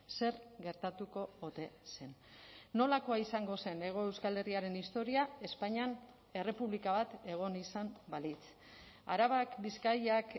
zer gertatuko ote zen nolakoa izango zen hego euskal herriaren historia espainian errepublika bat egon izan balitz arabak bizkaiak